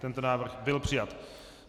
Tento návrh byl přijat.